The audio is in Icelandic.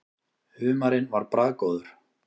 Humarinn var bragðgóður.